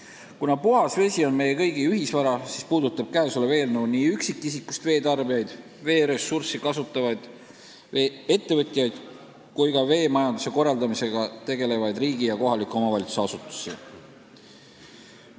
Kuna puhas vesi on meie kõigi ühisvara, siis puudutab eelnõu nii üksikisikust veetarbijaid, vett kasutavaid ettevõtjaid kui ka veemajanduse korraldamisega tegelevaid riigi- ja kohaliku omavalitsuse asutusi.